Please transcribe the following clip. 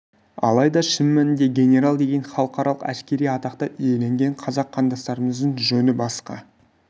алайда шын мәнінде генерал деген халықаралық әскери атақты иеленген қазақ қандастарымыздың жөні басқа